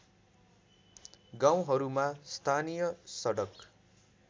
गाउँहरूमा स्थानीय सडक